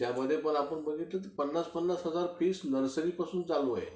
त्यामध्ये पण आपण बघितलं तर पन्नास पन्नास हजार रुपये फी नर्सरीपासून चालूची आहे